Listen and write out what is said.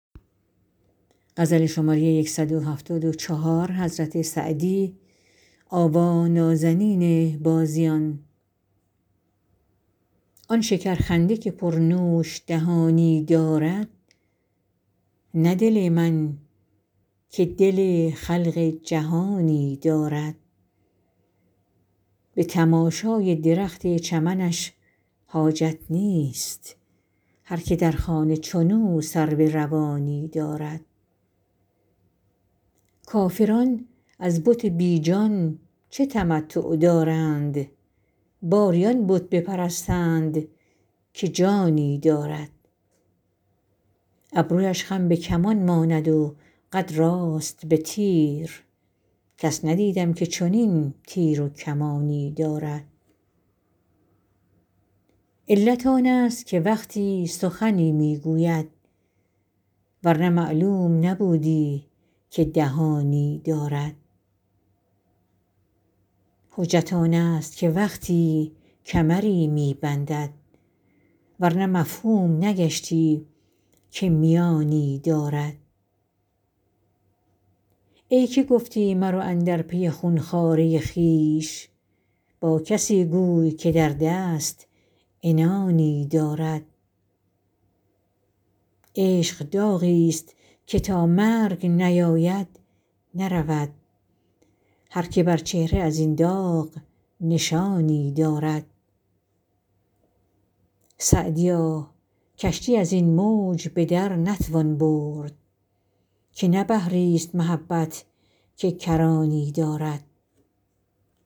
آن شکرخنده که پرنوش دهانی دارد نه دل من که دل خلق جهانی دارد به تماشای درخت چمنش حاجت نیست هر که در خانه چنو سرو روانی دارد کافران از بت بی جان چه تمتع دارند باری آن بت بپرستند که جانی دارد ابرویش خم به کمان ماند و قد راست به تیر کس ندیدم که چنین تیر و کمانی دارد علت آنست که وقتی سخنی می گوید ور نه معلوم نبودی که دهانی دارد حجت آنست که وقتی کمری می بندد ور نه مفهوم نگشتی که میانی دارد ای که گفتی مرو اندر پی خون خواره خویش با کسی گوی که در دست عنانی دارد عشق داغیست که تا مرگ نیاید نرود هر که بر چهره از این داغ نشانی دارد سعدیا کشتی از این موج به در نتوان برد که نه بحریست محبت که کرانی دارد